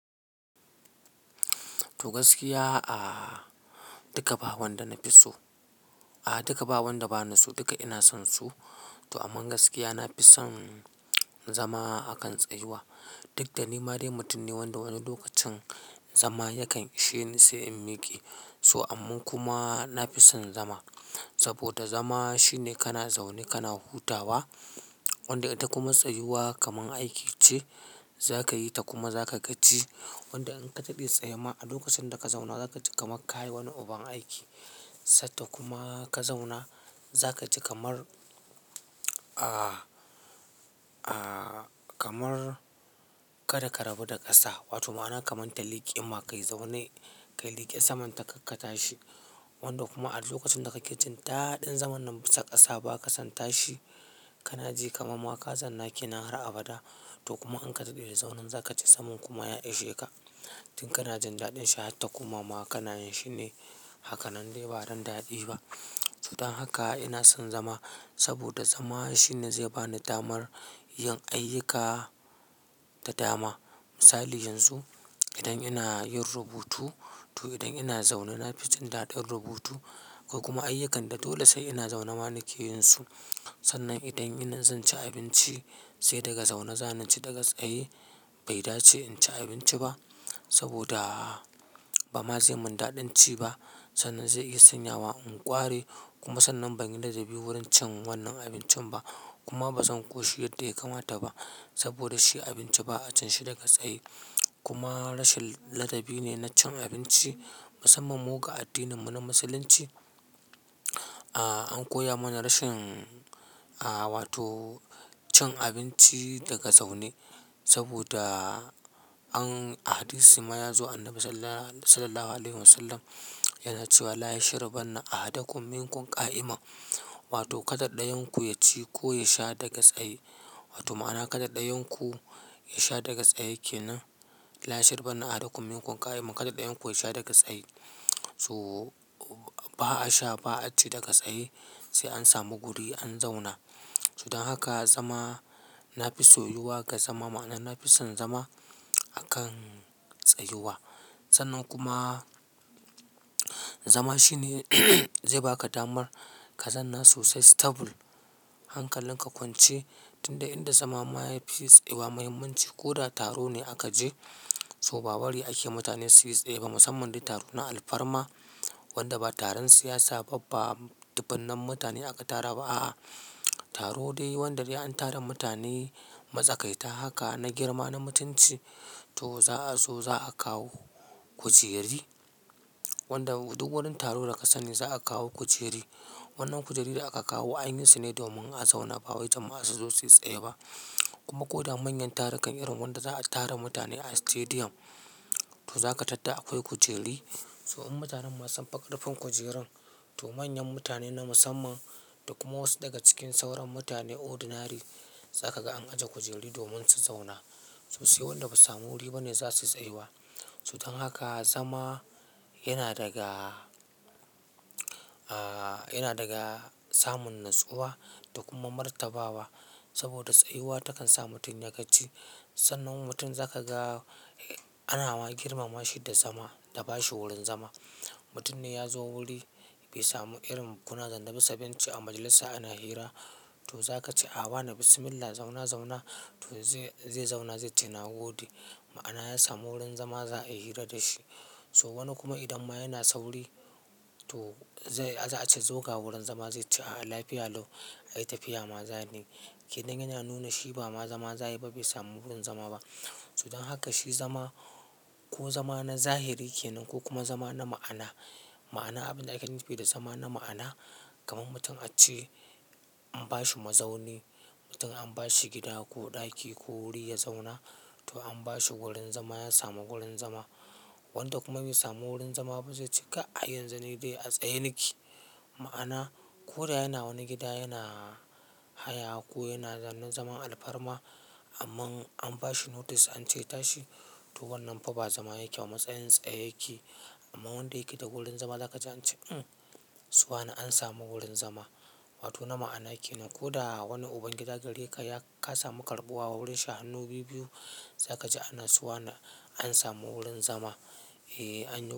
To gaskiya aa duka ba wanda na fi so, a'a duka ba wanda ba ni so duka ina son su. To amma gaskiya na fi son zama a kan tsayuwa. Duk da ni ma dai mutum ne wanda wani lokacin zama yakan ishe ni sai in miƙe. So amma kuma na fi son zama saboda zama shine kana zaune kana hutawa. Wanda ita kuma tsayuwa kamar aiki ce za ka yi ta kuma za ka gaji. Wanda in ka dade tsayema a lokacin da ka zauna za ka ji kamar ka yi wani uban aiki. Sadda kuma ka zauna za ka ji kamar, a a, kamar ka da ka rabu da ƙasa. Wato ma'ana kamar ta liƙe ma kai zaune, ka liƙe saman ta kakka tashi. Wanda kuma a lokacin da ka ke jin daɗin zaman nan bisa ƙasa ba ka san tashi, ka na ji kamar ma ka zanna ke nan har abada. To kuma in ka dade da zaunen za ka ji zaman kuma ya ishe ka. Tun kana jin daɗin shi har ta koma ma kana yin shi ne hakanan dai ba dan daɗi ba. To dan haka ina son zama saboda zama shine zai ba ni damar yin ayyuka da dama. Misali yanzu idan ina yin rubutu to idan ina zaune na fi jin daɗin rubutu. Ko kuma ayyukanda dole sai ina zaune ma na ke yin su. Sannan idan indai zan ci abinci sai daga zaune, zana ci, daga tsaye bai dace in ci abinci ba saboda ba ma zai min daɗin ci ba. Sannan zai iya sanya wa in ƙware kuma sannan ban yi ladabi wurin cin wannan abincin ba. Kuma ba zan ƙoshi yadda ya kamata ba saboda shi abinci ba'a cin shi daga tsaye. Kuma rashin ladabi ne na cin abinci, musamman mu ga addininmu na musulunci. A an koya mana rashin, a wato cin abinci daga zaune saboda an a hadisi ma yazo Annabi Sallallahu Alaihi Wasallam yana cewa "La yashribanna ahadakum minkum ƙa'ima". Wato kada ɗayan ku ya ci ko ya sha daga tsaye. Wato ma'ana kada ɗayan ku ya sha daga tsaye kenan. "La yashribanna ahadakum minkum ƙa'ima", kada ɗayan ku ya sha daga tsaye. To ba'a sha ba'a ci daga tsaye sai an samu guri an zauna. To dan haka zama na fi soyuwa ga zama ma'ana na fi son zama a kan tsayuwa. Sannan kuma zama shine zai ba ka damar ka zanna sosai stable hankalin ka kwance. Tun da inda zama ma ya fi tsayu wa muhimmanci ko da taro ne aka je, so ba bari ake mutane su yi tsaye ba musamman dai taro na alfarma. Wanda ba taron siyasa ba ba dubunnan mutane aka tara ba a'a. Taro dai wanda dai an tara mutane matsakaita haka na girma na mutunci to za'a so za'a kawo kujeri. Wanda duk wurin taro da ka sani za'a kawo kujeri. Wannan kujeri da aka kawo anyi su ne domin a zauna ba wai jama'a su zo su yi tsaye ba. Kuma ko da manyan tarukan irin wanda za'a tara mutane a stadium to za ka tadda akwai kujeri. So in mutanen ma sun fi karfin kujerun, to manyan mutane na musamman da kuma wasu daga cikin sauran mutane ordinary za ka ga an ajiye kujeri domin su zauna. To sai wanda basu samu wuri ba ne za su tsayuwa. To dan haka zama yana daga aa, yana daga samun natsuwa da kuma martabawa saboda tsayuwa takan sa mutum ya gaji. Sannan mutum zaka ga ana ma girmama shi da zama da ba shi wurin zama. Mutum ne ya zo wuri bai samu irin kuna zanne bisa benci a majalisa ana hira to za ka ce a, wane Bismillah zauna zauna to zai zauna zai ce na gode. Ma'ana ya samu wurin zama za a yi hira da shi. To wani kuma idan ma yana sauri, to zai za a ce zo ga wurin zama zai ce a'a lafiya lau, ai tafiya ma za ni. Kenan yana nuna shi ba ma zama zayayi ba bai samu wurin zama ba. Dan haka shi zama, ko zama na zahiri kenan ko kuma zama na ma'ana. Ma'ana abin da aka nufi da zama na ma'ana, kamar mutum a ce an ba shi mazauni, mutum an ba shi gida ko ɗaki ko wuri ya zauna, to an ba shi wurin zama ya samu wurin zama. Wanda kuma bai samu wurin zama ba zai ce kai, ai yanzu ni dai a tsaye nake. Ma'ana ko da yana wani gida yana haya ko yana zaune zaman alfarma, amman an bashi notice ance ya tashi to wannan fa ba zama yake a matsayin tsaye yake. Amma wanda yake da wurin zama za ka ji ance umh!, su wane an samu wurin zama. Wato na ma'ana kenan. Ko da wani ubangida gare ya ka samu karɓuwa wurin shi hannu bibbiyu za ka ji ana suwane an samu wurin zama, eh an.